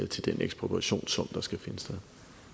til den ekspropriation som der skal finde sted